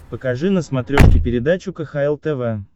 покажи на смотрешке передачу кхл тв